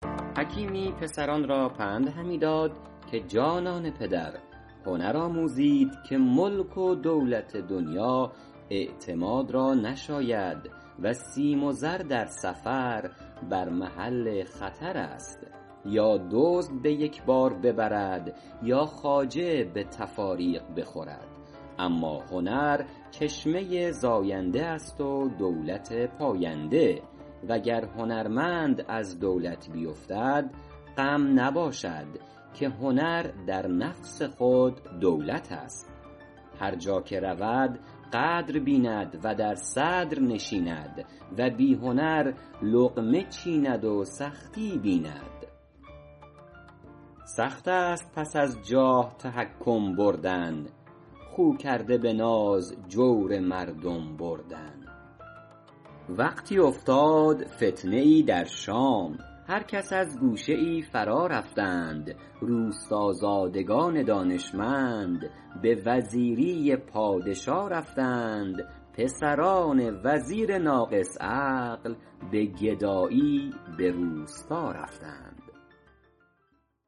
حکیمی پسران را پند همی داد که جانان پدر هنر آموزید که ملک و دولت دنیا اعتماد را نشاید و سیم و زر در سفر بر محل خطر است یا دزد به یک بار ببرد یا خواجه به تفاریق بخورد اما هنر چشمه زاینده است و دولت پاینده وگر هنرمند از دولت بیفتد غم نباشد که هنر در نفس خود دولت است هر جا که رود قدر بیند و در صدر نشیند و بی هنر لقمه چیند و سختی بیند سخت است پس از جاه تحکم بردن خو کرده به ناز جور مردم بردن وقتی افتاد فتنه ای در شام هر کس از گوشه ای فرا رفتند روستازادگان دانشمند به وزیری پادشا رفتند پسران وزیر ناقص عقل به گدایی به روستا رفتند